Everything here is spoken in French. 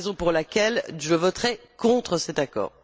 C'est la raison pour laquelle je voterai contre cet accord.